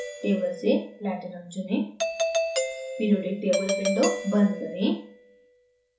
table से platinum pt चुनें periodic table window बंद करें